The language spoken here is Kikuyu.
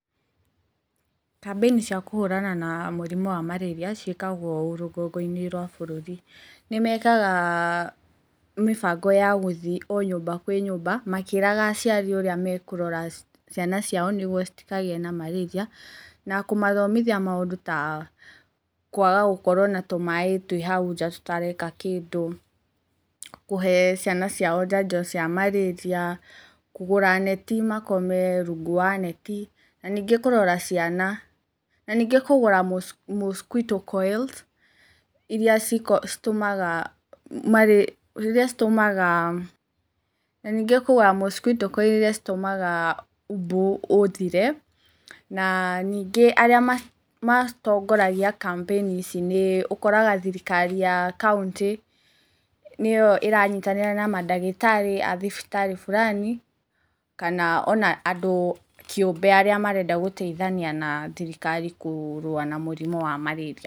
Kambĩinĩ cia kũhũrana na mũrimũ wa marĩria ciĩkagwo ũũ rũgongo-inĩ rwa bũrũri, nĩ mekaga mĩbango ya gũthiĩ o nyũmba kwĩ nyũmba makĩĩraga aciari ũrĩa me kũrora ciana ciao nĩ guo citokagĩe na marĩria, na kũmathomithia maũndũ ta, kũaga gũkorwo na tũmaaĩ twĩ hau nja tũtareka kĩndũ, kũhe ciana ciao njanjo cia marĩria, kũgũra neti, makome rungu wa neti, na ningĩ kũrora ciana, na ningĩ kũgũra mosquito coils iria citũmaga mbu ũthire, na ningĩ arĩa matongoragia kambĩini ici nĩ ũkoraga thirikari ya kauntĩ nĩyo ĩranyitanĩra na madagĩtarĩ a thibitarĩ fulani kana ona andũ kĩũmbe arĩa marenda gũteithania na thirikari kũrũa na mũrimũ wa marĩria.